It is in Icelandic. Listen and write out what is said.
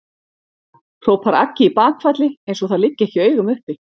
hrópar Aggi í bakfalli eins og það liggi ekki í augum uppi.